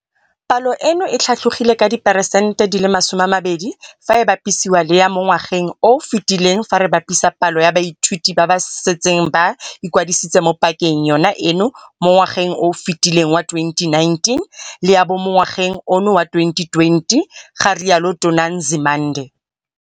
Palo eno e tlhatlogile ka diperesente di le masome a mabedi fa e bapisiwa le ya mo ngwageng o o fetileng fa re bapisa palo ya baithuti ba ba setseng ba ikwadisitse mo pakeng yona eno mo ngwageng o o fetileng wa 2019 le ya ba mo ngwageng ono wa 2020, ga rialo Tona Nzimande.